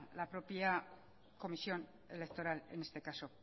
la propia comisión electoral en este caso